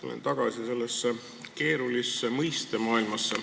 Tulen tagasi sellesse keerulisse mõistemaailma.